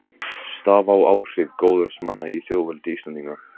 Staða og áhrif goðorðsmanna í þjóðveldi Íslendinga.